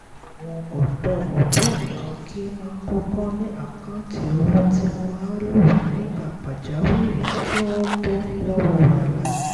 àwọn ọ̀dọ́ ògbóǹkangí máa kọ́kọ́ ní àkáǹtì owó tí wọ́n á lò nígbà pàjáwìrì kí wọ́n bọ́ lọ́wọ́ wàhálà